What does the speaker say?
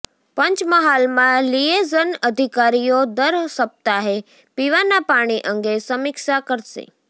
પંચમહાલમાં liaison અધિકારીઓ દર સપ્તાહે પીવાના પાણી અંગે સમીક્ષા કરશે